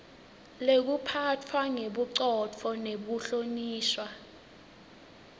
lekuphatfwa ngebucotfo nekuhlonishwa